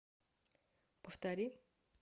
повтори